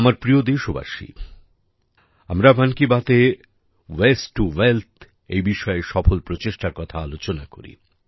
আমার প্রিয় দেশবাসী আমরা মন কি বাতএ ওয়াস্তে টো ওয়েলথ এই বিষয়ে সফল প্রচেষ্টার কথা আলোচনা করি